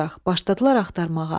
Başladılar axtarmağa.